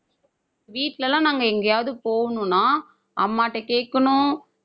வீட்ல எல்லாம் நாங்க எங்கேயாவது போகணும்னா அம்மாட்ட கேட்கணும்